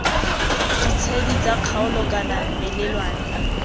ditshedi tsa kgaolo kana melelwane